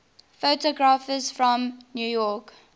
photographers from new york